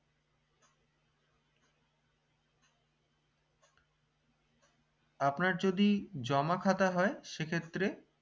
আপনার যদি জমা খাতা হয় সেক্ষেত্রে